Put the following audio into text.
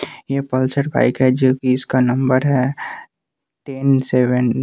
ये Pulsar bike है जोकि इसका नंबर है टेन सेवन --